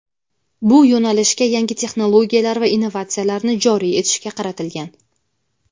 bu yo‘nalishga yangi texnologiyalar va innovatsiyalarni joriy etishga qaratilgan.